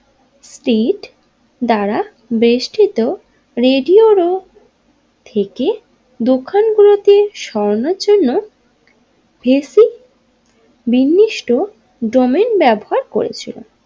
Street দ্বারা বেষ্টিত রেডিওর থেকে দোকান গুলোকে সরানোর জন্য হেসি বিনিষ্ট ডোমেইন ব্যবহার করেছিল।